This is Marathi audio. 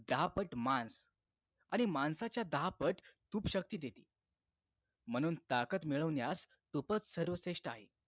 दहा पट मांस आणि मांसाच्या दहा पट तूप शक्ती देते म्हणून ताकद मिळवण्यास तूपच सर्व श्रेष्ठ आहे